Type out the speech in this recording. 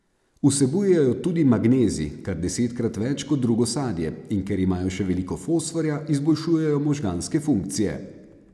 Vsebujejo tudi magnezij, kar desetkrat več kot drugo sadje, in ker imajo še veliko fosforja, izboljšujejo možganske funkcije.